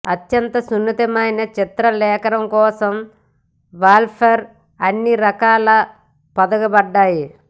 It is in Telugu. అత్యంత సున్నితమైన చిత్రలేఖనం కోసం వాల్పేపర్ అన్ని రకాలలో పొదగబడ్డాయి